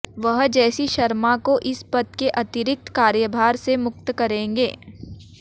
वह जेसी शर्मा को इस पद के अतिरिक्त कार्यभार से मुक्त करेंगे